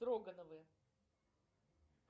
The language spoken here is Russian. строгановы